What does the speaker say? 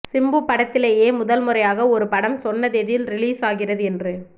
சிம்பு படத்திலேயே முதன்முறையாக ஒரு படம் சொன்ன தேதியில் ரிலீஸ் ஆகிறது என்று